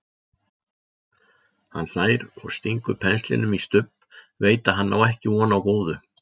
Hann hlær og stingur penslinum í Stubb, veit að hann á ekki von á góðu.